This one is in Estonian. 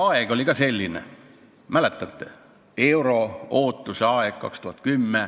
Aeg oli ka selline, mäletate, euro-ootuse aeg.